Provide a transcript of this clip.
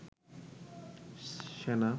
সেনা